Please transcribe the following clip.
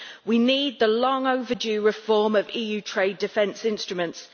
We need the long overdue reform of EU trade defence instruments.